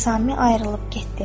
Nizami ayrılıb getdi.